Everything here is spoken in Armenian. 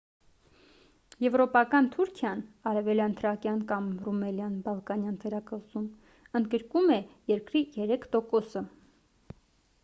եվրոպական թուրքիան արևելյան թրակիան կամ ռումելիան՝ բալկանյան թերակղզում ընդգրկում է երկրի 3%-ը: